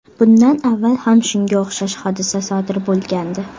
Bundan avval ham shunga o‘xshash hodisa sodir bo‘lgandi.